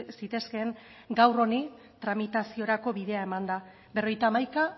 zitezkeen gaur honi tramitaziorako bidea emanda berrogeita hamaika